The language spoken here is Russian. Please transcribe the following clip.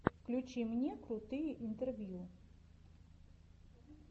включи мне крутые интервью